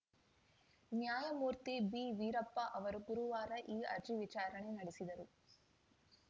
ನ್ಯಾಯಮೂರ್ತಿ ಬಿವೀರಪ್ಪ ಅವರು ಗುರುವಾರ ಈ ಅರ್ಜಿ ವಿಚಾರಣೆ ನಡೆಸಿದರು